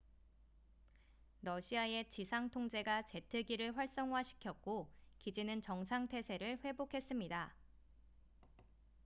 러시아의 지상 통제가 제트기를 활성화시켰고 기지는 정상 태세를 회복했습니다